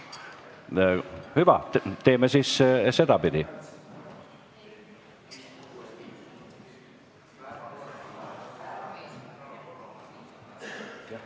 Hüva, teeme siis sedapidi.